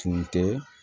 Tun tɛ